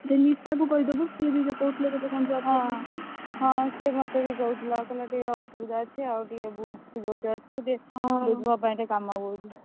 ସେ ନିଶାକୁ କହିଦବୁ, ସେ ବି ତ କହୁଥିଲେ, ତତେ କଣ job ହଁ, ସେ ମତେ ବି କହୁଥିଲା କହିଲା, ଟିକେ ଅସୁବିଧା ଅଛି, ଆଉ ଟିକେ ବୁଝୁ, ତୁ ଯୋଉଠି ଅଛୁ